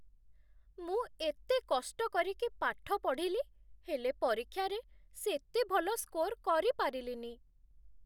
ମୁଁ ଏତେ କଷ୍ଟ କରିକି ପାଠ ପଢ଼ିଲି, ହେଲେ ପରୀକ୍ଷାରେ ସେତେ ଭଲ ସ୍କୋର କରିପାରିଲିନି ।